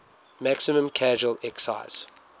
maximum casual excise